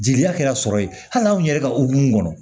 Jeliya kɛra sɔrɔ ye hali anw yɛrɛ ka hokumu kɔnɔ